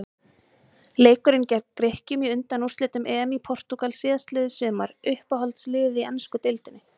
Leikurinn gegn Grikkjum í undanúrslitum EM í Portúgal síðastliðið sumar Uppáhaldslið í ensku deildinni?